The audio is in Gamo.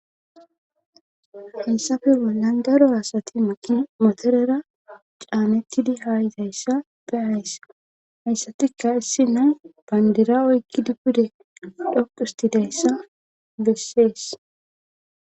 Hessafe bollan daro asati maqi motorera caanettidi haayitayssa beyayssa hayssatika issi na bandira oykki dupude dhoqistidayssa bessees.